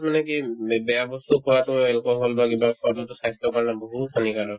মানে কি বে ~ বেয়া বস্তু খোৱাতো alcohol বা কিবা খোৱাতো যোনতো স্বাস্থ্যৰ কাৰণে বহুত হানিকাৰক